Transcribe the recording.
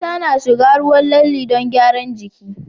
Mata na shiga ruwan lalle don gyaran jiki